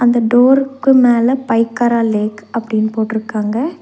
இந்த டோருக்கு மேல பைக்கரா லேக் அப்டீனு போட்ருக்காங்க.